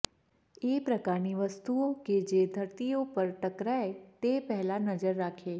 એ પ્રકારની વસ્તુઓ કે જે ધરતીઓ પર ટકરાય તે પહેલા નજર રાખે